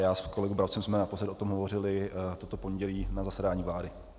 Já s kolegou Brabcem jsme naposled o tom hovořili toto pondělí na zasedání vlády.